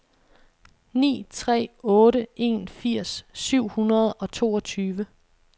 ni tre otte en firs syv hundrede og toogtyve